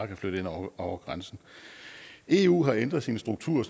kan flytte ind over grænsen eu har ændret sin struktur